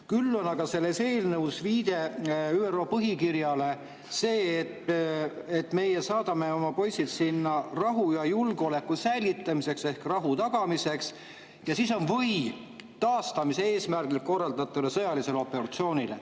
Küll on aga selles eelnõus viide ÜRO põhikirjale, et meie saadame oma poisid sinna rahu ja julgeoleku säilitamiseks ehk rahu tagamiseks, ja siis on kirjas "või taastamise eesmärgil korraldataval sõjalisel operatsioonil".